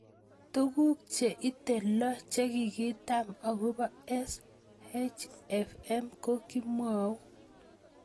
Tuguk che ite loo che kikitaban akopoSHFM ko kimwau